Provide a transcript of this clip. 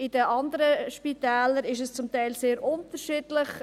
In den anderen Spitälern ist es zum Teil sehr unterschiedlich.